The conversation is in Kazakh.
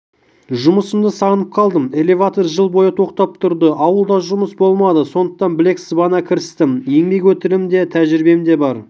жұмысымды сағынып қалдым элеватор жыл бойы тоқтап тұрды ауылда жұмыс болмады сондықтан білек сыбана кірістім еңбек өтілім де тәжірибем де бар